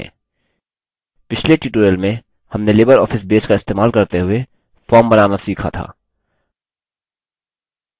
पिछले tutorial में हमने libreoffice base का इस्तेमाल करते हुए form बनाना सीखा था